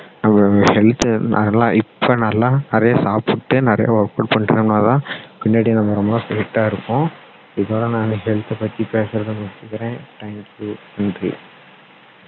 நம்மளோட health த நல்லா இப்போ நல்ல நிறைய சாப்பிட்டு நிறைய work out பண்ணுறதுனால பின்னாடி நம்ம ரொம்ப fit டா இருப்போம் இதோட நான் health த பத்தி பேசுறதை நிறுத்திக்கிறேன் thank you நன்றி